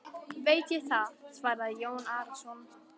Veit ég það, svaraði Jón Arason.